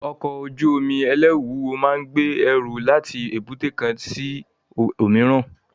Ọkọ̀ ojú omi ẹlẹru wúwo máa ń gbé ẹrù láti èbúté kan sí òmíràn